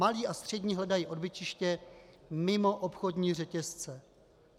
Malé a střední hledají odbytiště mimo obchodní řetězce.